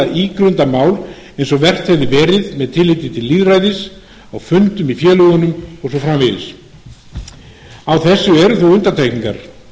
ígrunda mál eins og vert hefði verið með tilliti til lýðræðis á fundum í félögunum og svo framvegis á þessu eru þó undantekningar